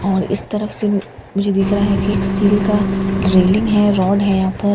और इस तरफ से मुझे दिख रहा है कि एक स्टील का रेलिंग है रौड़ है यहाँ पर --